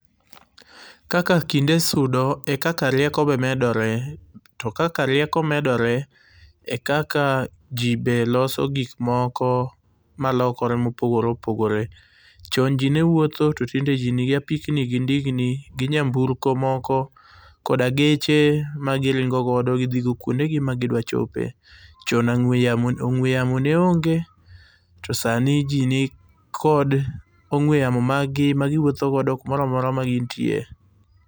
Kaka kinde sudo ,ekaka rieko be medore. To kaka rieko medore , ekaka ji be loso gik moko malokore mopogore opogore. Chon ji ne wuotho, to tinde ji nigi ndigni gi apikni gi nyamburko moko koda geche magiringo godo gidhigo kuondegi ma gidwa chope. Chon ang'ue ong'ue yamo ne onge, to sani ji nikod ong'ue yamo mag gi magiwuotho go kumoro amora magin tie. Kaka kinde sudo ,ekaka rieko be medore. To kaka rieko medore , ekaka ji be loso gik moko malokore mopogore opogore. Chon jii ne wuotho, to tinde ji nigi ndigni gi apikni gi nyamburko moko koda geche magiringo godo gidhigo kuondegi ma gidwa chope. Chon ang'ue, ong'ue yamo ne onge, to sani jii nikod ong'ue yamo mag gi magiwuotho go kumoro amora magin tie.